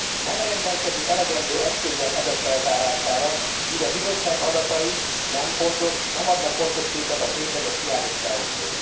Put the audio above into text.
Nem rendelkezik elegendő eszközzel ezek feltárására, így a Bizottság adatai nem adnak pontos képet a tényleges hiányosságokról.